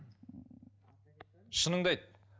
шыныңды айт